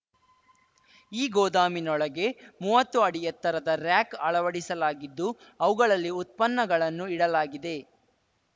ಈ ಗೋದಾಮಿನೊಳಗೆ ಮುವತ್ತು ಅಡಿ ಎತ್ತರದ ರಾರ‍ಯಕ್‌ ಅಳವಡಿಸಲಾಗಿದ್ದು ಅವುಗಳಲ್ಲಿ ಉತ್ಪನ್ನಗಳನ್ನು ಇಡಲಾಗಿದೆ